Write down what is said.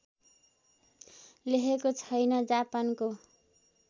लेखेको छैन् जापानको